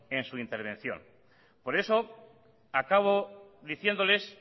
en su intervención por eso acabo diciéndoles